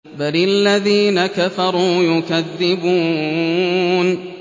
بَلِ الَّذِينَ كَفَرُوا يُكَذِّبُونَ